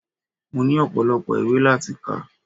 Mo ní ọpọ́lọpọ́ ìwé láti kà.